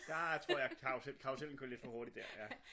Der tror jeg karusellen kører lidt for hurtigt der ja